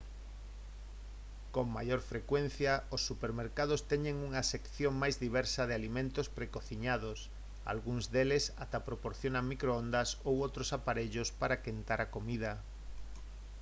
con maior frecuencia os supermercados teñen unha sección máis diversa de alimentos precociñados algúns deles ata proporcionan microondas ou outros aparellos para quentar a comida